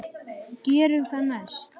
Gerum það næst.